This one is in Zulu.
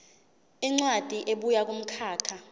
incwadi ebuya kumkhakha